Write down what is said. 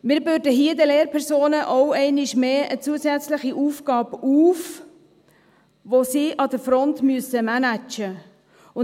Wir bürden hier den Lehrpersonen auch einmal mehr eine zusätzliche Aufgabe auf, die sie an der Front managen müssten.